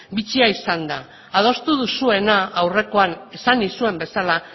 bitxia izan da adostu duzuena aurrekoan esan nizuen bezala